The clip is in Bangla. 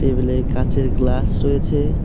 টেবিল -এ কাঁচের গ্লাস রয়েছে।